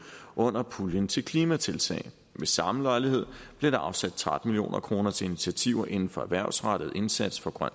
under puljen til klimatiltag ved samme lejlighed blev der afsat tretten million kroner til initiativer inden for erhvervsrettet indsats for grøn